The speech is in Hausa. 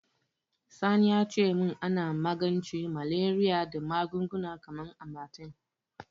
Sani ya ce min ana magance Malariya da magunguna kamar Amatem.